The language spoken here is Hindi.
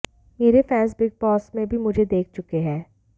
मेरे फैंस बिग बॉस में भी मुझे देख चुके हैं